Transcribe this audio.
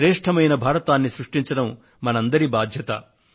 శ్రేష్ఠమైన భారతాన్ని సృష్టించడం మనందరి బాధ్యత